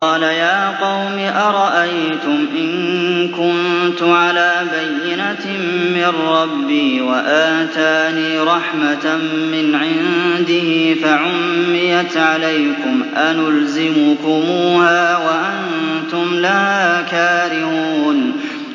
قَالَ يَا قَوْمِ أَرَأَيْتُمْ إِن كُنتُ عَلَىٰ بَيِّنَةٍ مِّن رَّبِّي وَآتَانِي رَحْمَةً مِّنْ عِندِهِ فَعُمِّيَتْ عَلَيْكُمْ أَنُلْزِمُكُمُوهَا وَأَنتُمْ لَهَا كَارِهُونَ